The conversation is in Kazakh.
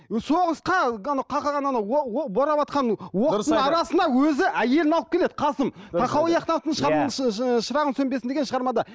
соғысқа анау қақаған анау бораватқан оқтың арасына өзі әйелін алып келеді қасым тахауи ахтановтың шырағың сөнбесін деген шығармада